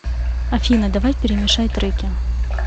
афина давай перемешай треки